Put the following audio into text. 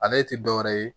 Ale ti dɔwɛrɛ ye